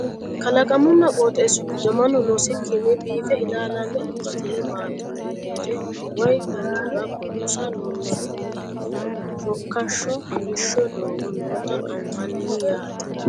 Kalaqamunna qoxeessu giddo mannu loosikkinni biiffe ilaalaame ikkitino baatto mereere waye noohura buusa lonsoonnihanna shokkashsho kolishsho doogo noota anfanni yaate